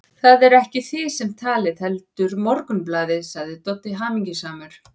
Það eruð ekki þið sem talið, heldur Morgunblaðið, sagði Doddi hamingjusamur.